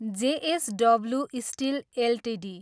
JSW steel Ltd